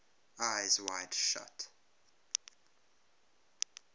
eyes wide shut